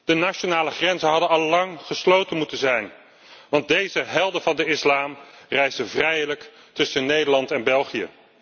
De nationale grenzen hadden allang gesloten moeten zijn, want deze helden van de islam reisden vrijelijk tussen Nederland en België.